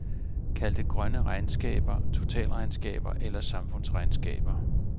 Kald det grønne regnskaber, totalregnskaber eller samfundsregnskaber.